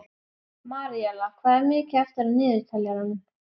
Maríella, hvað er mikið eftir af niðurteljaranum?